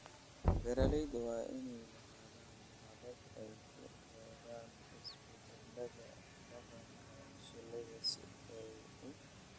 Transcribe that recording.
Beeralayda waa in ay lahaadaan habab ay ku eegaan isbeddelada dhaqanka shinnida si ay u